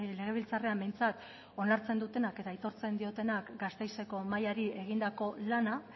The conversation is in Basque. legebiltzarrean behintzat onartzen dutenak eta aitortzen diotenak gasteizeko mailari egindako lana